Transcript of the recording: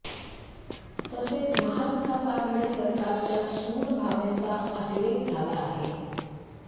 तसेच महाविकास आघाडी सरकारच्या सूड भावनेचा अतिरेक झाला आहे